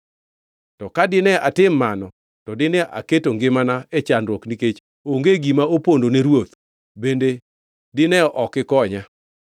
To ka dine atim mano, to dine aketo ngimana e chandruok nikech onge gima opondo ne ruoth bende dine ok ikonya.”